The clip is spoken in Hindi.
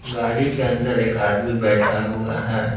गाड़ी के अंदर एक आदमी बैठा हुआ है।